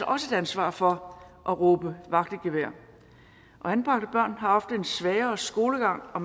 også et ansvar for at råbe vagt i gevær anbragte børn har ofte en svagere skolegang og